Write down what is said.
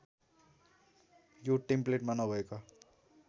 यो टेम्प्लेटमा नभएका